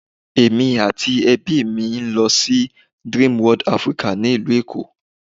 Èmi àti ẹbí mi a lọ sí Dreamworld Africana ni ìlú Èkó.